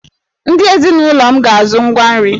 Ndị ezinụlọ m ga-azụ ngwa nri!